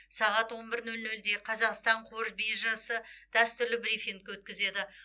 сағат он бір нөл нөлде қазақстан қор биржасы дәстүрлі брифинг өткізеді